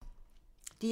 DR1